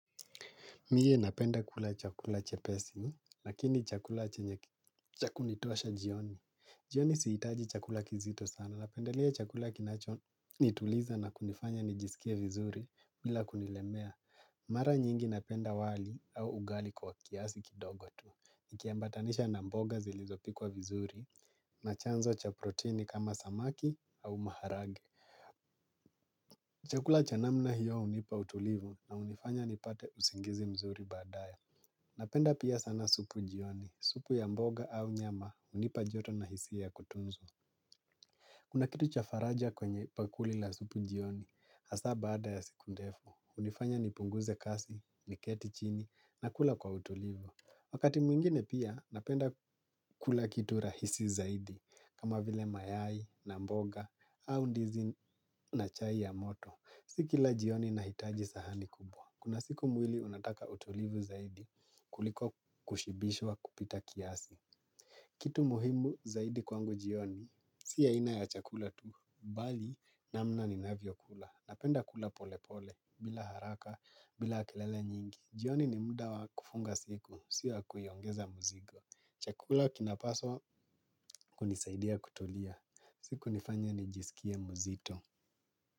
Mie napenda kula chakula chepesi, lakini chakula cha kunitosha jioni. Jioni sihitaji chakula kizito sana. Napendelea chakula kinachonituliza na kunifanya nijisikie vizuri bila kunilemea. Mara nyingi napenda wali au ugali kwa kiasi kidogo tu. Nikiambatanisha na mboga zilizopikwa vizuri na chanzo cha proteini kama samaki au maharage. Chakula cha namna hiyo hunipa utulivu na hunifanya nipate usingizi mzuri baadaye. Napenda pia sana supu jioni, supu ya mboga au nyama hunipa joto na hisia ya kutunzu. Kuna kitu cha faraja kwenye pakuli la supu jioni, hasa baada ya siku ndefu, hunifanya nipunguze kasi, niketi chini, na kula kwa utulivu. Wakati mwingine pia napenda kula kitu rahisi zaidi, kama vile mayai na mboga au ndizi na chai ya moto. Si kila jioni nahitaji sahani kubwa. Kuna siku mwili unataka utulivu zaidi kuliko kushibishwa kupita kiasi. Kitu muhimu zaidi kwangu jioni, si aina ya chakula tu. Bali namna ninavyokula. Napenda kula pole pole, bila haraka, bila kelele nyingi. Jioni ni muda wa kufunga siku, si ya kuiongeza mzigo. Chakula kinapaswa kunisaidia kutulia. Si kunifanya nijisikie mzito.